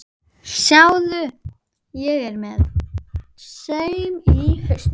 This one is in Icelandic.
Sjáðu, ég er með saum í hausnum.